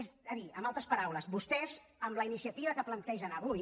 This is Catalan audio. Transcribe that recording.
és a dir amb altres paraules vostès amb la iniciativa que plantegen avui